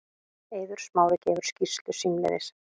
Eiður Smári gefur skýrslu símleiðis